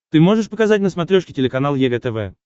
ты можешь показать на смотрешке телеканал егэ тв